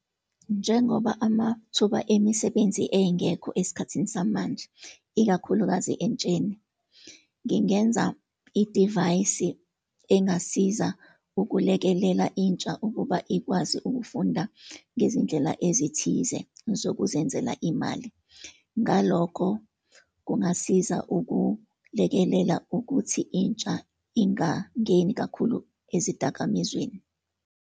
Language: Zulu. Njengoba amathuba emisebenzi engekho esikhathini samanje, ikakhulukazi entsheni, ngingenza idivayisi engasiza ukulekelela intsha ukuba ikwazi ukufunda ngezindlela ezithize zokuzenzela imali, ngalokho kungasiza ukulekelela ukuthi intsha ingangeni kakhulu ezidakamizweni.